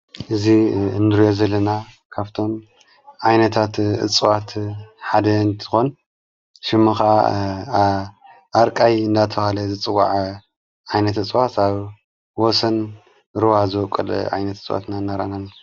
እዙ እንርዮ ዘለና ካብቶም ኣይነታት እጽዋት ሓደ እንቲኾን ሽሙ ኻዓ ኣርቃይ እናተብሃለ ዝጽዋዕ ኣይነት እጽዋት ኣብ ወሰን ሩባ ዝወቈል ኣይነት እጽዋትና እነረአና ንርከብ።